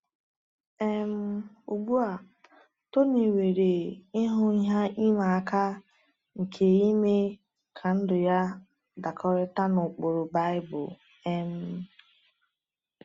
um Ugbu a, Tony nwere ihu ihe ịma aka nke ime ka ndụ ya dakọtara na ụkpụrụ Baịbụl. um